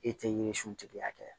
E tɛ yiri suntigi hakɛya